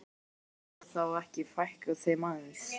En hvers vegna má þá ekki fækka þeim aðeins?